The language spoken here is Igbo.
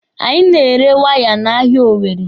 Anyị na-ere waya n'ahịa Owere.